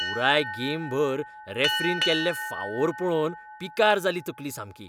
पुराय गेमभर रॅफ्रीन केल्ले फावोर पळोवन पिकार जाली तकली सामकी.